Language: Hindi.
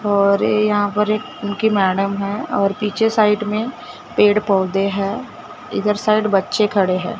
और ये यहां पर एक उनकी मैडम है और पीछे साइड में पेड़ पौधे हैं इधर साइड बच्चे खड़े है।